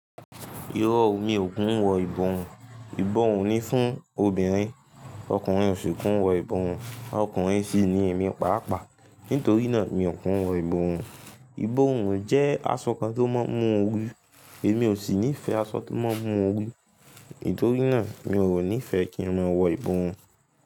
Irọ́ o, mi ò kún wọ ìborùn. Ìborùn ní fún obìnrin, ọkùnrin ò sì kún wọ ìborùn. Ọkùnrin sì ní èmí pàápàá. Nítorí náà, mi ò kí n wọ ìborùn. Ìborùn jẹ́ aṣọ kan tí ó ma ń mú orí, èmi ò sì nífẹ̀ aṣọ tí ó ma ń mú orí. Nítorí náà mi ò nífẹ́ kí n máa wọ ìborùn.